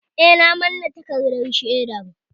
Eh, na manne takardar shaidar